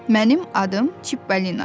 Mənim adım Çipbalinadır.